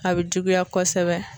A be juguya kɔsɛbɛ